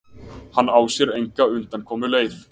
Hann á sér enga undankomuleið.